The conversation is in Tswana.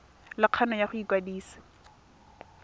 le kgano ya go ikwadisa